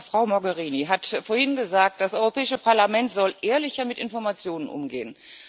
Frau Mogherini hat vorhin gesagt Das Europäische Parlament soll ehrlicher mit Informationen umgehen.